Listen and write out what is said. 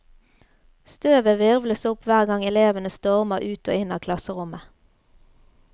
Støvet hvirvles opp hver gang elevene stormer ut og inn av klasserommet.